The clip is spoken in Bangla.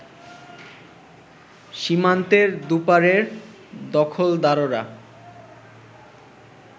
সীমান্তের দুপারের দখলদাররা